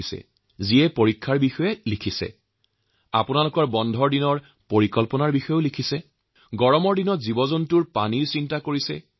তেওঁলোকে তেওঁলোকৰ পৰীক্ষাৰ কথা লিখিছে ছুটীৰ পৰিকল্পনা বিনিময় কৰিছে এই গৰমত পশুপক্ষীৰ পানীৰ ক্ষেত্ৰত হোৱা কষ্টৰ কথাও চিন্তা কৰিছে